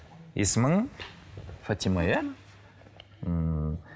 есімің фатима иә ммм